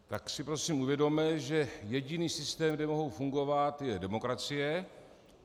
Tak si prosím uvědomme, že jediný systém, kde mohou fungovat, je demokracie.